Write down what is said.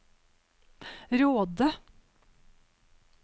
Råde